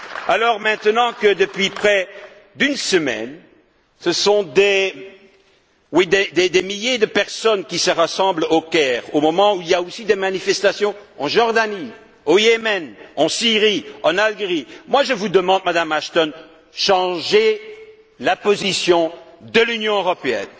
Alors, maintenant que, depuis près d'une semaine, ce sont des milliers de personnes qui se rassemblent au Caire, au moment où il y a aussi des manifestations en Jordanie, au Yémen, en Syrie, en Algérie, je vous demande, Madame Ashton, de changer la position de l'Union européenne.